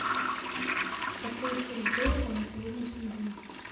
какой курс доллара на сегодняшний день